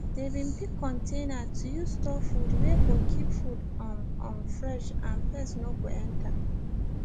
they been pick container to use store food wey go keep food um um fresh and pest no go enter